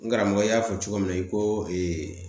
N karamɔgɔ y'a fɔ cogo min na ko